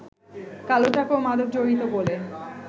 কালো টাকা ও মাদক জড়িত বলে